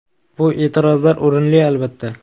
Bu e’tirozlar o‘rinli, albatta.